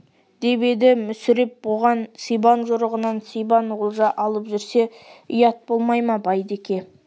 деп еді мүсіреп оғансибан жорығынан сибан олжа алып жүрсе ұят болмай ма байдеке